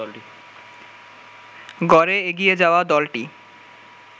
গড়ে এগিয়ে যাওয়া দলটি